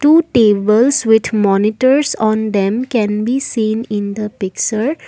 two tables with monitors on them can be seen in the pixure .